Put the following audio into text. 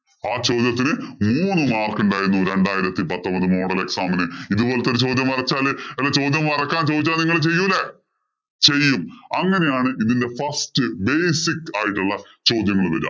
ആ ചോദ്യത്തിന് മൂന്ന് mark ഉണ്ടായിരുന്നു. രണ്ടായിരത്തി പത്തൊമ്പത് model exam ഇന്. ഇത് പോലത്തെ ചോദ്യം വരച്ചാല് അല്ല ചോദ്യം വരയ്ക്കാന്‍ ചോദിച്ചാല്‍ നിങ്ങള്‍ ചെയ്യൂലേ. ചെയ്യും. അങ്ങനെയാണ് ഇതിന്‍റെ first basic ആയിട്ടുള്ള ചോദ്യങ്ങള് വരിക.